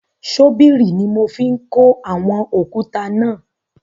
Ṣọ́bìrì ni mo fi ń kó àwọn òkúta náà.